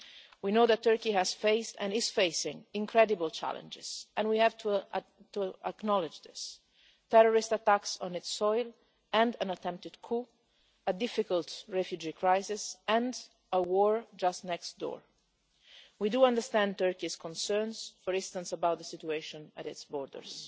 We know that Turkey has faced, and is facing, incredible challenges and we have to acknowledge this terrorist attacks on its soil, an attempted coup, a difficult refugee crisis and a war just next door. We understand Turkey's concerns, for instance, about the situation at its borders.